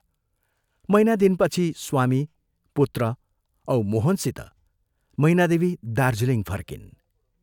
महीना दिनपछि स्वामी, पुत्र औ मोहनसित मैनादेवी दार्जीलिङ फर्किन्।